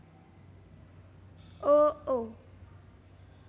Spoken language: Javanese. o o